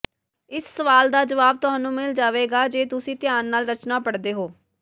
ਇਸ ਸਵਾਲ ਦਾ ਜਵਾਬ ਤੁਹਾਨੂੰ ਮਿਲ ਜਾਵੇਗਾ ਜੇ ਤੁਸੀਂ ਧਿਆਨ ਨਾਲ ਰਚਨਾ ਪੜ੍ਹਦੇ ਹੋ